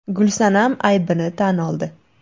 Gulsanam aybini tan oldi.